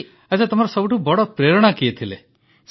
ଆଚ୍ଛା ତୁମର ସବୁଠୁ ବଡ଼ ପ୍ରେରଣା କିଏ ଥିଲେ